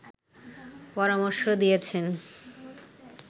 পরামর্শ দিয়েছেন